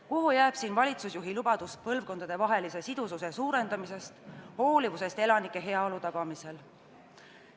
Kuhu jääb siin valitsusjuhi lubadus põlvkondadevahelise sidususe suurendamisest, hoolivusest elanike heaolu tagamisel?